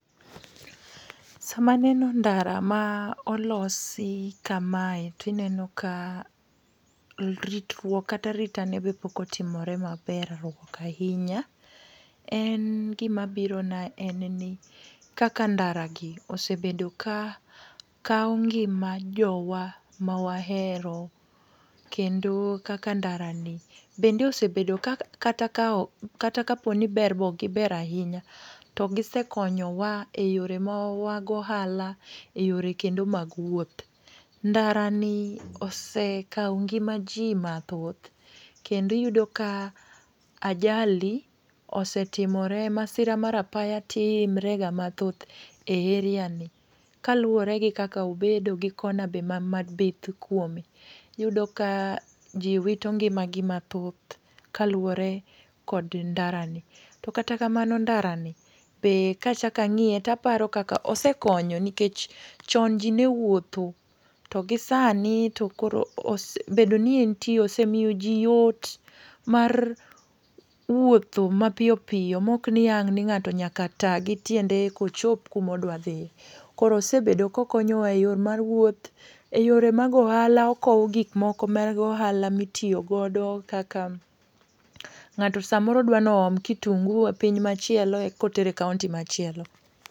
Sama aneno ndara ma olosi kamae tineno ka ritruok kata aritane be pokotimore maber ruok ainya. En gimabirona en ni kaka ndaragi osebedo ka kao ngima jowa mawahero kendo kaka ndarani bende osebedo kata kaponi berruok okgiber ainya to gisekonyowa e yorewa mag ohala e yore kendo mag wuoth. Ndarani osekao ngima jii mathoth kendo iyudo ka ajali osetimore, masira mar apaya timrega mathoth e area ni kaluore gi kaka obedo gi kona be mabith kuome. Iyudo ka jii wito ngimagi mathoth kaluore kod ndarani. To kata kamano ndarani be kachakang'iye taparo kaka osekonyo nikech chon jii newuotho to gi sani to koro bedo ni entie osemio jii yot mar wuotho mapiyopiyo ma okni ang'ni ng'ato nyaka taa gi tiende ekochop kumodwadhie. Koro osebedo kokonyowa e yoo mar wuoth,e yore mag ohala okoo gikmoko mag ohala mitio godo kaka ng'ato samoro dwanooom kitungu e piny machielo kotero e kaonti machielo.